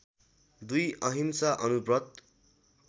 २ अहिंसा अणुव्रत